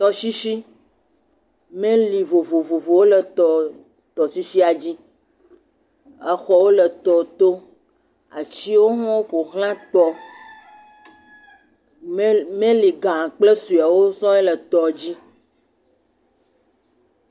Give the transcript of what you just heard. Tɔsisi. Meli vovovowo le tɔsisia dzi. Xɔwo le tɔ to. Atsiwo hã ƒoxlã tɔ. Meli ga kple suewo le tɔ dzi.